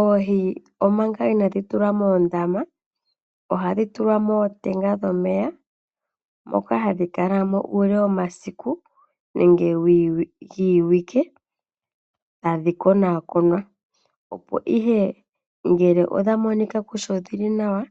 Oohi omanga inadhi tulwa moondama, oha dhi tulwa mootenga dhomeya moka hadhi kala mo uule womasiku nenge giiwike, tadhi konakonwa opo ihe ngeke odha monikwa kutya odhili nawa